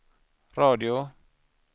radio